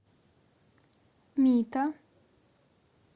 мито